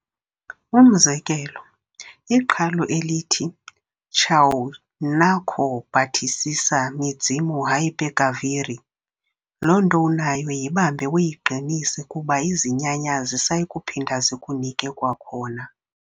Umzekelo, iqhalo elithi 'Chauinacho batisisa midzimu haipe kaviri"- "Loo nto unayo yibambe uyiqinise, kuba izinyanya azisayi kuphinde zikunike kwakhona."